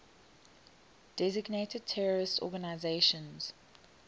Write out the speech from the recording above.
designated terrorist organizations